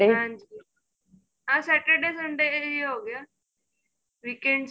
ਹਾਂਜੀ ਆ Saturday Sunday ਈ ਹੋ ਗਿਆ weekends